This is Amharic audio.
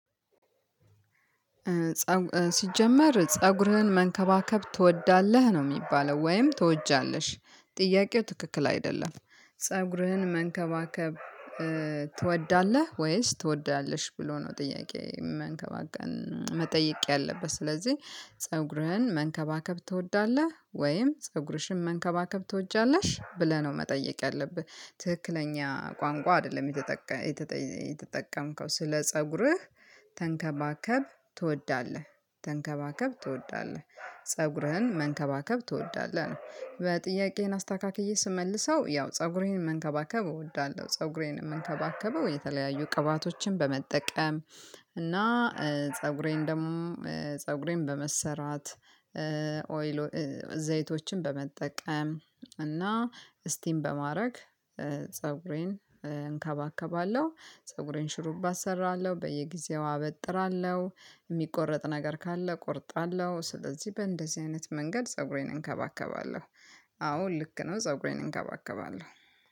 ሲጀመር ፀጉርህን መንከባከብ ትወዳለህ? ነው የሚባለው ወይም ትወጃለሽ? ጥያቄው ትክክል አይደለም ፀጉርህን መንከባከብ ትወዳለህ? ወይስ ትወዳለሽ? ብሎ ነው ጥያቄ መንከባከን መጠየቅ ያለበት። ስለዚህ ፀጉርህን መንከባከብ ትወዳለህ? ወይም ፀጉርሽን መንከባከብ ትወጃለሽ? ብለህ ነው መጠየቅ ያለብህ ትክክለኛ ቋንቋ አይደለም የተጠቀ የተጠቀመከው ስለ ፀጉርህ ተንከባከብ ትወዳለህ ተንከባከብ ትወዳለህ ፀጉርህን መንከባከብ ትወዳለህ? ነው በጥያቄህን አስተካክዬ ስመልሰው ያው ፀጉሬን መንከባከብ እወዳለሁ ፀጉሬን የምንከባከበው የተለያዩ ቅባቶችን በመጠቀም እና ፀጉሬን ደሞ ፀጉሬን በመሰራት ኦይሎ ዘይቶችን በመጠቀም እና ስቲም በማረግ ፀጉሬን እንከባከባለሁ፣ ፀጉሬን ሽሩባ እሰራለሁ፣ በየጊዜው አበጥራለሁ፣ የሚቆረጥ ነገር ካለ እቆርጣለሁ፣ ስለዚህ በእንደዚህ አይነት መንገድ ፀጉሬን እንከባከባለሁ። አዎ ልክ ነው ፀብሬን እንከባከባለሁ።